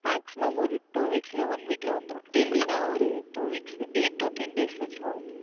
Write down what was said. Maximum ஓர் Two Weeks இல்லை One Week யில் வந்துவிடும் Delhi என்றால் Two WeeksEight to Ten Days கழித்து ஆகும்